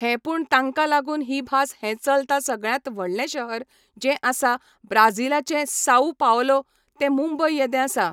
हे पूण तांकां लागून ही भास हें चलता सगळ्यांत व्हडलें शहर जें आसा ब्राजीलाचें साउ पावलो ते मुंबय येदें आसा